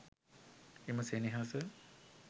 එම සෙනෙහස